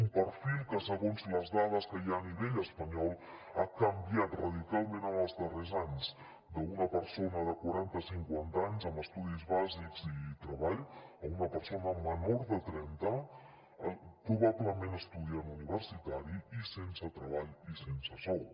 un perfil que segons les dades que hi ha a nivell espanyol ha canviat radicalment en els darrers anys d’una persona de quaranta cinquanta anys amb estudis bàsics i treball a una persona menor de trenta probablement estudiant universitari i sense treball i sense sou